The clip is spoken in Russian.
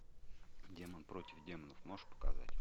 демон против демонов можешь показать